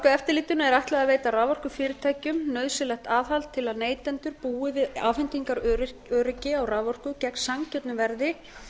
raforkueftirlitinu er ætlað að veita raforkufyrirtækjum nauðsynlegt aðhald til að neytendur búi við afhendingaröryggi á raforku gegn sanngjörnu verði